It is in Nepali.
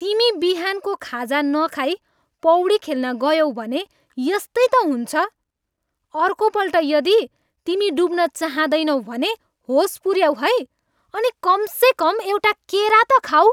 तिमी बिहानको खाजा नखाई पौडी खेल्न गयौ भने यस्तै त हुन्छ। अर्कोपल्ट यदि तिमी डुब्न चाहँदैनौ भने होस पुऱ्याऊ है अनि कमसेकम एउटा केरा त खाऊ।